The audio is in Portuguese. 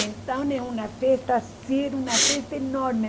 Então é uma festa assim, era uma festa enorme.